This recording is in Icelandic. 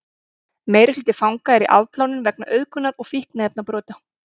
meirihluti fanga er í afplánun vegna auðgunar eða fíkniefnabrota